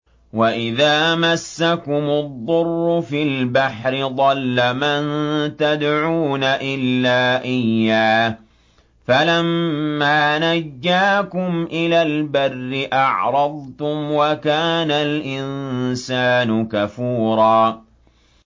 وَإِذَا مَسَّكُمُ الضُّرُّ فِي الْبَحْرِ ضَلَّ مَن تَدْعُونَ إِلَّا إِيَّاهُ ۖ فَلَمَّا نَجَّاكُمْ إِلَى الْبَرِّ أَعْرَضْتُمْ ۚ وَكَانَ الْإِنسَانُ كَفُورًا